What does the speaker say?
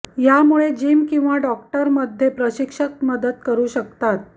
यामुळे जिम किंवा डॉक्टरमध्ये प्रशिक्षक मदत करू शकतात